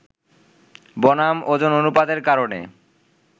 বনাম ওজন অনুপাতের কারণে